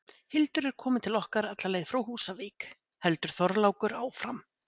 Hildur er komin til okkar alla leið frá Húsavík, heldur Þorlákur áfram.